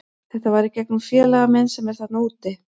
Þetta var í gegnum félaga minn sem er þarna úti.